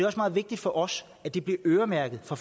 også meget vigtigt for os at det bliver øremærket fra